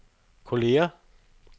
kolleger